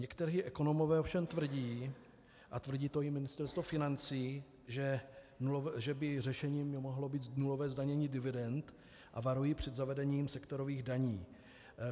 Někteří ekonomové ovšem tvrdí, a tvrdí to i Ministerstvo financí, že by řešením mohlo být nulové zdanění dividend, a varují před zavedením sektorových daní.